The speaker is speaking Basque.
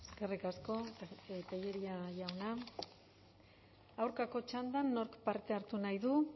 eskerrik asko tellería jauna aurkako txandan nork parte hartu nahi du